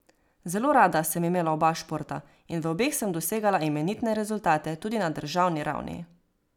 Zelo rada sem imela oba športa in v obeh sem dosegala imenitne rezultate tudi na državni ravni.